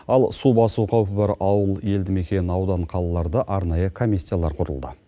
ал су басу қаупі бар ауыл елді мекен аудан қалаларда арнайы комиссиялар құрылды